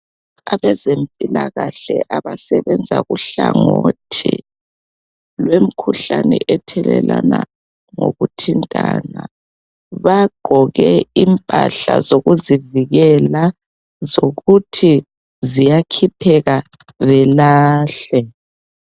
Abazempilakahle abasebenza kuhlangothi lwemkhuhlane ethelelana ngokuthintana bagqoke impahla zokuzivikela zokuthi ziyakhipheka belahle.